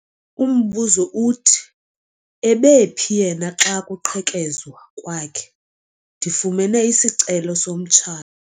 Umbuzo uthi ebephi yena xa kuqhekezwa kwakhe? ndifumene isicelo somtsha